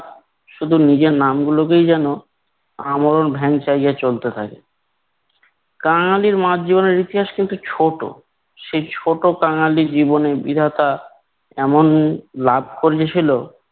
শুধু নিজের নামগুলোকেই যেন আমল ভ্যাংচাইয়া চলতে থাকে। কাঙালি মার জীবনের ইতিহাস কিন্তু ছোট। সেই ছোট কাঙালিলী জীবনে বিধাতা এমন লাভ করিয়েছিল